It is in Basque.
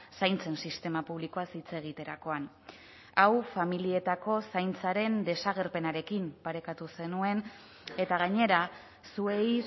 zaintzen sistema publikoaz hitz egiterakoan hau familietako zaintzaren desagerpenarekin parekatu zenuen eta gainera zuei